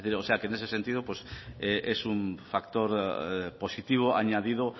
o sea que en ese sentido es un factor positivo añadido